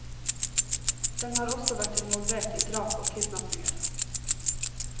Den har også vært involvert i drap og kidnappinger.